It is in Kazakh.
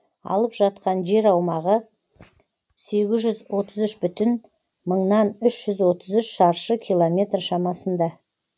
алып жатқан жер аумағы сегіз жүз отыз үш бүтін мыңнан үш жүз отыз үш шаршы километр шамасында